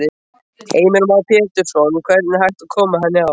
Heimir Már Pétursson: Hvernig er hægt að koma henni á?